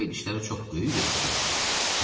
Köpək dişləri çox böyük və iti idi.